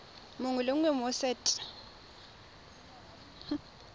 mongwe le mongwe mo set